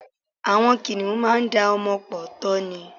Àwọn kìnìhún máá da ọmọ pọ̀ tọ́ ni.